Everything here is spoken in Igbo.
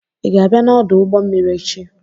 ị ga-abịa n'ọdụ ụgbọ mmiri echi?